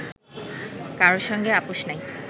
কারো সঙ্গে আপোষ নাই